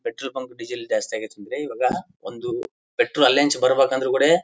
petrol bunk diesel ಜಾಸ್ತಿ ಅಗೈತ್ ಅಂದ್ರೆ ಇವಾಗ ಒಂದು ಪೆಟ್ರೋಲ್ ಅಲ್ಲೇ ಇಂಚ್ ಬರ್ಬೇಕಂದ್ರೆ ಕುಡೆ --